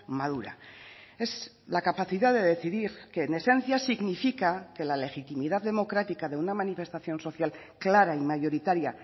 madura es la capacidad de decidir que en esencia significa que la legitimidad democrática de una manifestación social clara y mayoritaria